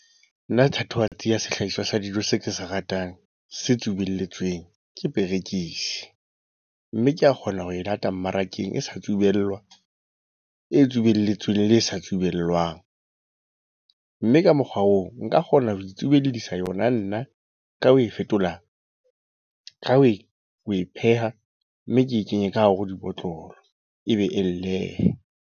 Nna thatohatsi ya sehlahiswa sa dijo se ke se ratang, se tsubelletsweng, ke perekisi. Mme ke a kgona ho e lata mmarakeng e sa tsubelwa. E tsubelletsweng le e sa tsubellwang. Mme ka mokgwa oo, nka kgona ho itsubellisa yona nna ka ho e fetola. Ka ho e, ho e pheha mme ke e kenye ka hare ho dibotlolo ebe .